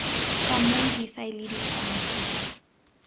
ka moo difaele di tshwanetseng